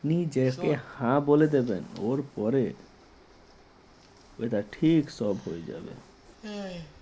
নিজেকে হা বলে দেবেন ওর পরে ওটা ঠিক সব হয়ে যাবে